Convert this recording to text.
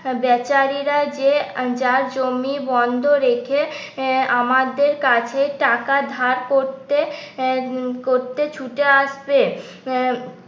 ব্যাচারীরা যে যার জমি বন্ধ রেখে আমাদের কাছে টাকা ধার করতে করতে ছুটে আসছে আহ